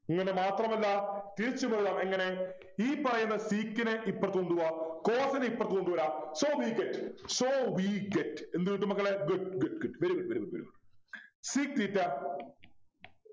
അങ്ങനെ മാത്രമല്ല തിരിച്ചും എഴുതാം എങ്ങനെ ഈ പറയുന്ന sec നെ ഇപ്പറത് കൊണ്ടുപോകാം cos നെ ഇപ്പറത്തു കൊണ്ടുവരാം so we get so we get എന്ത് കിട്ടും മക്കളെ good good good very good very good very good sec theta